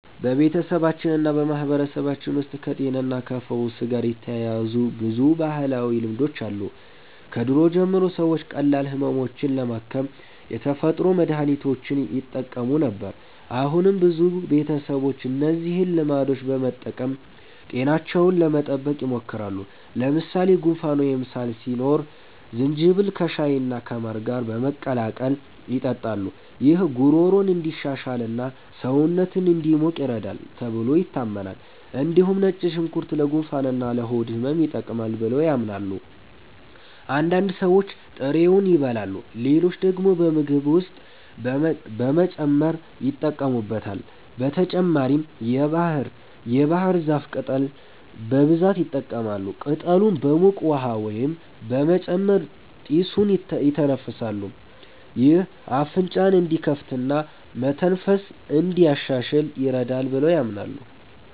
በቤተሰባችንና በማህበረሰባችን ውስጥ ከጤናና ከፈውስ ጋር የተያያዙ ብዙ ባህላዊ ልማዶች አሉ። ከድሮ ጀምሮ ሰዎች ቀላል ህመሞችን ለማከም የተፈጥሮ መድሀኒቶችን ይጠቀሙ ነበር። አሁንም ብዙ ቤተሰቦች እነዚህን ልማዶች በመጠቀም ጤናቸውን ለመጠበቅ ይሞክራሉ። ለምሳሌ ጉንፋን ወይም ሳል ሲኖር ዝንጅብል ከሻይና ከማር ጋር በመቀላቀል ይጠጣሉ። ይህ ጉሮሮን እንዲሻሽልና ሰውነትን እንዲሞቅ ይረዳል ተብሎ ይታመናል። እንዲሁም ነጭ ሽንኩርት ለጉንፋንና ለሆድ ህመም ይጠቅማል ብለው ያምናሉ። አንዳንድ ሰዎች ጥሬውን ይበላሉ፣ ሌሎች ደግሞ በምግብ ውስጥ በመጨመር ይጠቀሙበታል። በተጨማሪም የባህር ዛፍ ቅጠል በብዛት ይጠቀማሉ። ቅጠሉን በሙቅ ውሃ ውስጥ በመጨመር ጢሱን ይተነፍሳሉ። ይህ አፍንጫን እንዲከፍትና መተንፈስን እንዲያሻሽል ይረዳል ብለው ያምናሉ።